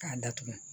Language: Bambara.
K'a datugu